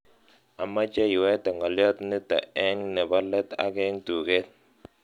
Amoche iwete ngoliot nito eng nebo let ak eng tuget